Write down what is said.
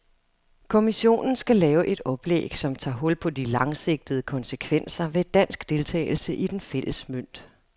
Kommissionen skal lave et oplæg, som tager hul på de langsigtede konsekvenser ved dansk deltagelse i den fælles mønt.